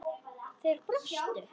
Þeir brostu.